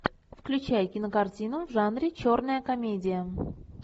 включай кинокартину в жанре черная комедия